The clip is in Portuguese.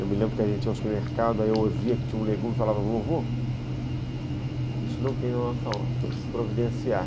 Eu me lembro que a gente ia ao supermercado, aí eu ouvia que tinha um legume e falava, vovô, isso não tem na nossa horta, temos que providenciar